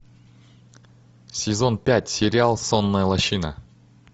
сезон пять сериал сонная лощина